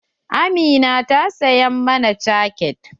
Amina ta saya mana cake.